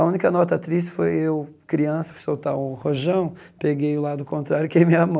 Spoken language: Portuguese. A única nota triste foi eu, criança, fui soltar o rojão, peguei o lado contrário e queimei a mão.